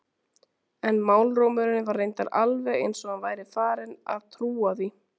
En málrómurinn var reyndar alveg eins og hann væri farinn að trúa því.